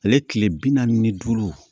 Ale tile bi naani ni duuru